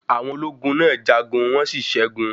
Àwọn ológun náà jagun, wọ́n sí ṣẹgun.